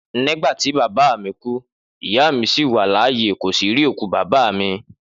Nígbàtí bàbá mí ku, ìyá bàbá mí sí wà láyé, kò sí rí òkú bàbá mí